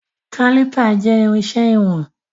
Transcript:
Kálìpà jẹ́ irinṣẹ́ ìwọ̀n.